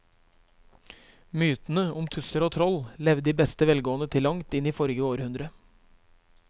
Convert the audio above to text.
Mytene om tusser og troll levde i beste velgående til langt inn i forrige århundre.